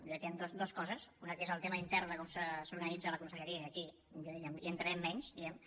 i aquí hi han dues coses una que és el tema intern de com s’organitza la conselleria i aquí jo diria hi entrarem menys diguem ne